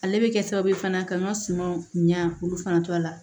Ale bɛ kɛ sababu ye fana ka n ka sumaw ɲa olu fana to a la